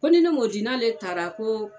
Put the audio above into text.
Ko ni ne m'o di n'ale taara ko